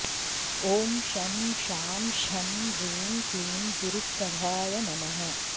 ॐ शं शां षं ह्रीं क्लीं गुरुप्रभाय नमः